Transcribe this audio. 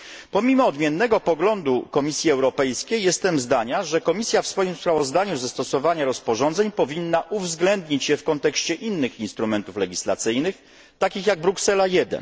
Pomimo odmiennego poglądu Komisji Europejskiej jestem zdania, że Komisja w swoim sprawozdaniu ze stosowania rozporządzeń powinna uwzględnić je w kontekście innych instrumentów legislacyjnych, takich jak Bruksela I.